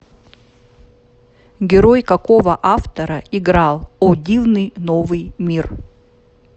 герой какого автора играл о дивный новый мир